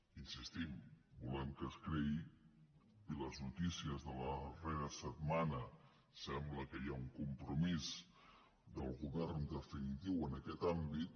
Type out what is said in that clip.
hi insistim volem que es creï i per les notícies de la darrera setmana sembla que hi ha un compromís del govern definitiu en aquest àmbit